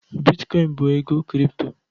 Bitkoin bụ ego kripto